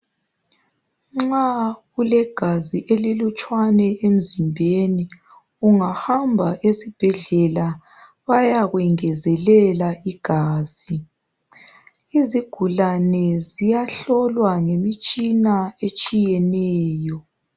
Nxa ulegazi elilutshwana emzimbeni ungahamba esibhedlela bayakwengezelela igazi izigulane ziyahlolwa ngemitshina etshiyeneyo.